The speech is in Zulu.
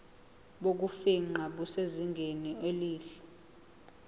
bokufingqa busezingeni elihle